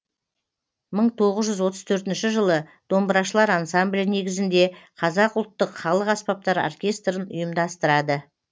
мың тоғыз жүз он төртінші жылы домбырашылар ансамблі негізінде қазақ ұлттық халық аспаптар оркестрін ұйымдастырады